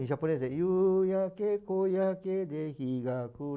Em japonês é...